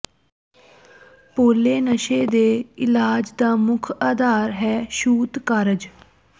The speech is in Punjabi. ਪੋਲੇ ਨਸ਼ੇ ਦੇ ਇਲਾਜ ਦਾ ਮੁੱਖ ਆਧਾਰ ਹਨ ਛੂਤ ਕਾਰਜ